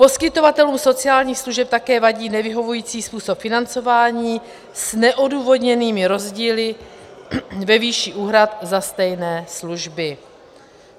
Poskytovatelům sociálních služeb také vadí nevyhovující způsob financování s neodůvodněnými rozdíly ve výši úhrad za stejné služby.